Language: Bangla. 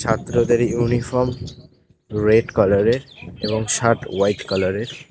ছাত্রদের ইউনিফর্ম রেড কালার -এর এবং শার্ট হোয়াইট কালার -এর।